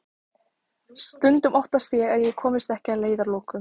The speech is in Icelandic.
Stundum óttast ég að ég komist ekki að leiðarlokum.